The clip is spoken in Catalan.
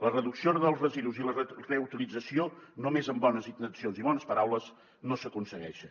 la reducció dels residus i la reutilització només amb bones intencions i bones paraules no s’aconsegueixen